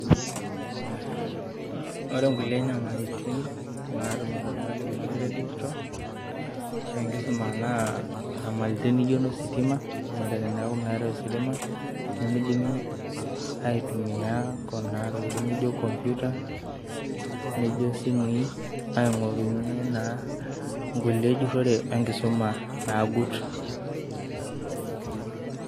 Ore nkulie nyamalitin natumito irmwalimuni tenkisuma edigital naa nyamalitin naijo inositima , ore teniaku meetae ositima nemeidimi aitumia ntokitin naijo computer naidimi aingorunyie enjurore enkisuma nagut.